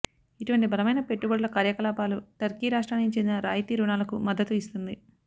ఇటువంటి బలమైన పెట్టుబడుల కార్యకలాపాలు టర్కీ రాష్ట్రానికి చెందిన రాయితీ రుణాలకు మద్దతు ఇస్తుంది